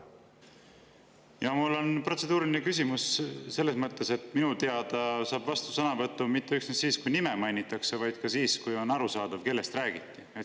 Jaa, mul on protseduuriline küsimus selles mõttes, et minu teada saab vastusõnavõtu mitte üksnes siis, kui nime mainitakse, vaid ka siis, kui on arusaadav, kellest räägiti.